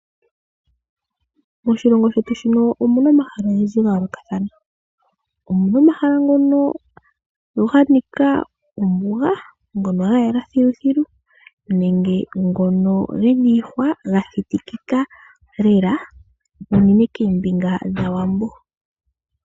Moshilongo shetu shino omuna omahala ogendji ga yoolokathana, omuna omahala ngono ga nika ombuga ngo ga yela filufilu nenge ngono gena iihwa ga thitikika lela unene keembinga dhawambo.